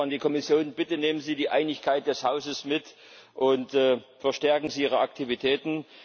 Eine Bitte an die Kommission Bitte nehmen Sie die Einigkeit des Hauses mit, und verstärken Sie Ihre Aktivitäten!